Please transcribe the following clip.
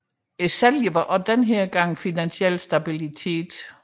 Sælgeren er også denne gang Finansiel Stabilitet